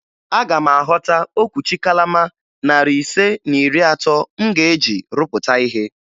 Aga m ahọta okwuchi kalama narị ise na iri atọ m ga-eji rụpụta ihe